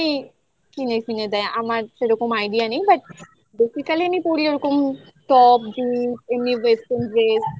কিনেফিনে দেয় আমার সেরকম idea নেই but basically আমি পড়ি ওরকম top jeans এমনি western dress